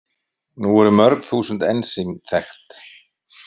Nú eru mörg þúsund ensím þekkt.